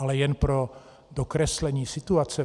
Ale jen pro dokreslení situace.